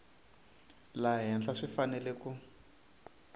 laha henhla swi fanele ku